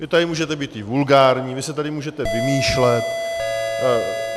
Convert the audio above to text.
Vy tady můžete být i vulgární, vy si tady můžete vymýšlet.